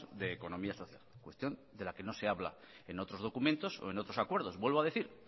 de economía social cuestión de la que no se habla en otros documentos o en otros acuerdos vuelvo a decir